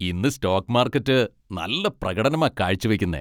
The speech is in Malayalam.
ഇന്ന് സ്റ്റോക്ക് മാർക്കറ്റ് നല്ല പ്രകടനമാ കാഴ്ചവെക്കുന്നെ.